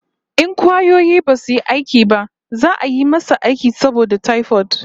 In kwayoyi basu yi aiki ba za'a yi masa aiki saboda typhoid